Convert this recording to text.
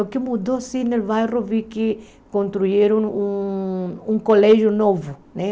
O que mudou assim no bairro, vi que construíram um um colégio novo né